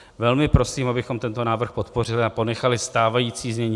Velmi prosím, abychom tento návrh podpořili a ponechali stávající znění.